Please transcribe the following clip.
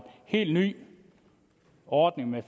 helt ny ordning med